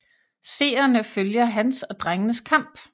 Seerne følger hans og drengenes kamp